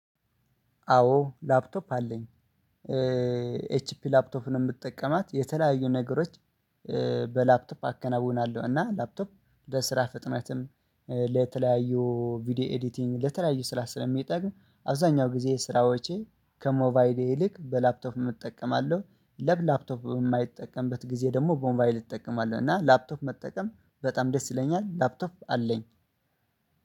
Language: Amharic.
አዎ ላፕቶፕ አለኝ። ኤችፒ ላፕቶፍን የምትጠቀማት የተለያዩ ነገሮች በላፕቶፕ አከናውናለሁ እና ላፕቶፕ ለስራ ፍጥነትም ለተለያዩ ቪዲዮ ኤዲቲንግ ለተለያዩ ስራ ስለሚጠቅም አብዛኛው ጊዜ ስራዎቼ ከሞባይሌ ይልቅ በላፕቶፍ እጠቀማለሁ። ለብ ላፕቶፕ የማይጠቀምበት ጊዜ ደግሞ ቦምባይል እጠቀማለሁ እና ላፕቶፕ መጠቀም በጣም ደስ ይለኛል። ላፕቶፕ አለኝ